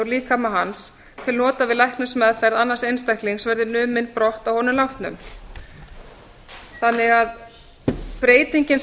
úr líkama hans til nota við læknismeðferð annars einstaklings verði numin brott að honum látnum breytingin